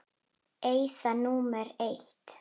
Eyða númer eitt.